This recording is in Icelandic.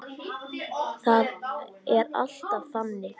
Það er alltaf þannig.